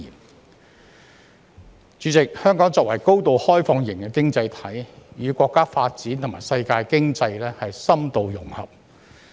代理主席，香港作為高度開放型經濟體，與國家發展和世界經濟深度融合。